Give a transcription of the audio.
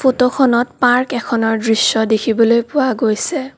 ফটোখনত পাৰ্ক এখনৰ দৃশ্য দেখিবলৈ পোৱা গৈছে।